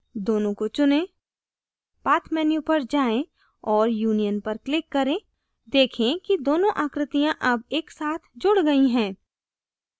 दोनों को चुनें path menu पर जाएँ और union पर click करें देखें कि दोनों आकृतियां अब एक साथ जुड़ गयीं हैं